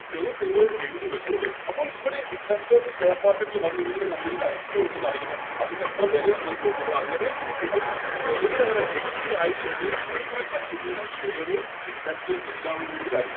നിങ്ങള് എഴുതി വെച്ചോളൂ അപ്പോൾ ഇവിടെ Investor stock market ൽ വന്ന് ഇതുപോലൊരു Company ല് IPO ഉണ്ടെന്നറിയുന്നു അതിൻറെ എത്ര വെല ആണെന്ന് നോക്കുന്നു അങ്ങനെ ഒരു വേലയിലാവര് Agree ആയിക്കൊണ്ട് ഈയൊരു Company യുടെ Share എല്ലാവരും കൂടി